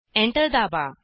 enter दाबा